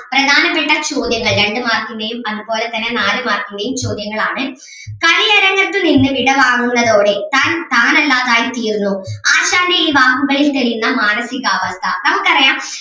പ്രധാനപ്പെട്ട ചോദ്യങ്ങൾ രണ്ടു mark ൻ്റെയും അതുപോലെ തന്നെ നാലു mark ൻ്റെയും ചോദ്യങ്ങൾ ആണ് കളിയരങ്ങത്തു നിന്നു വിടവാങ്ങുന്നതോടെ താൻ താൻ അല്ലാതായി തീരുന്നു ആശാന്റെ ഈ വാക്കുകളിൽ തെളിയുന്ന മാനസികാവസ്ഥ നമുക്ക് അറിയാം.